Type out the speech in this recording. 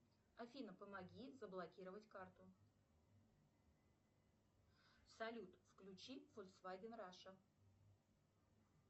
афина помоги заблокировать карту салют включи фольксваген раша